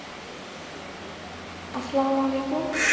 আস্লামালাইকুম